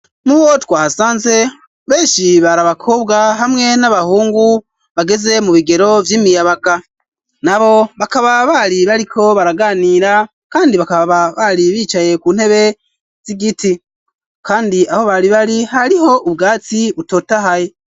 Mubo twahasanze, benshi bari abakobwa hamwe n'abahungu, bageze mu bigero vy'imiyabaga, nabo bakaba bari bariko baraganira, kandi bakaba bari bicaye ku ntebe z'igiti, kandi aho bari bari hariho ubwatsi butotahaye.